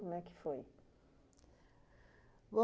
Como é que foi?